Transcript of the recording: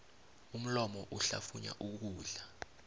umlomo uhlafunya ukudla